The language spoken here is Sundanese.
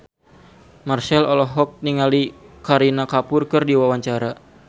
Marchell olohok ningali Kareena Kapoor keur diwawancara